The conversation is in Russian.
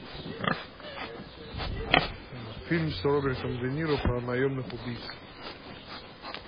фильм с робертом де ниро про наемных убийц